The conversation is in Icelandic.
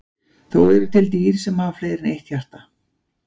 Þó eru til dýr sem hafa fleiri en eitt hjarta.